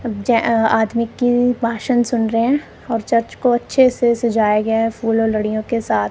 जेए आदमी की भाषण सुन रहे हैं और चर्च को अच्छे से सजाया गया है फूल और लड़ियों के साथ--